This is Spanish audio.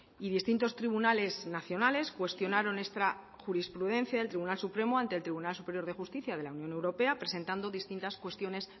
y distintos tribunales nacionales cuestionaron esta jurisprudencia del tribunal supremo ante el tribunal superior de justicia de la unión europea presentando distintas cuestiones